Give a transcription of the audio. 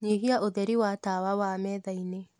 nyĩhĩaũtherĩ wa tawa wa methaĩnĩ